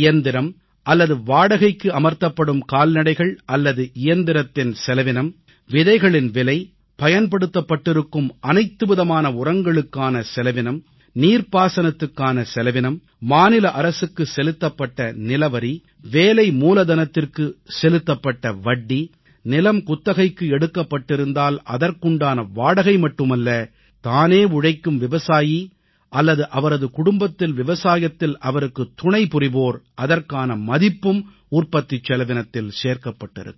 இயந்திரம் அல்லது வாடகைக்கு அமர்த்தப்படும் கால்நடைகள் அல்லது இயந்திரத்தின் செலவினம் விதைகளின் விலை பயன்படுத்தப்பட்டிருக்கும் அனைத்துவிதமான உரங்களுக்கான செலவினம் நீர்பாசனத்துக்கான செலவினம் மாநில அரசுக்கு செலுத்தப்பட்ட நிலவரி வேலை மூலதனத்திற்கு செலுத்தப்பட்ட வட்டி நிலம் குத்தகைக்கு எடுக்கப்பட்டிருந்தால் அதற்குண்டான வாடகை மட்டுமல்ல தானே உழைக்கும் விவசாயி அல்லது அவரது குடும்பத்தில் விவசாயத்தில் அவருக்குத் துணைபுரிவோர் அதற்கான மதிப்பும் உற்பத்திச் செலவினத்தில் சேர்க்கப்பட்டிருக்கிறது